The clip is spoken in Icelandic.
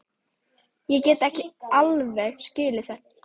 Ég get alveg skilið það.